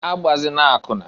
Agbazina akwụna!